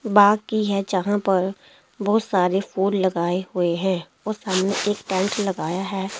बाग की है जहां पर बहुत सारे फूल लगाए हुए हैं और सामने एक टेंट लगाया है।